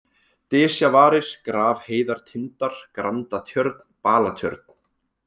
Dysjavarir, Grafheiðartindar, Grandatjörn, Balatjörn